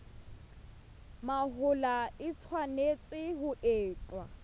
mahola e tshwanetse ho etswa